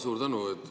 Suur tänu!